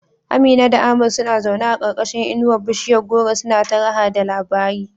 Amina da Ahmad suna zaune a karkashin inuwar bishiyar goro suna ta raha da labari.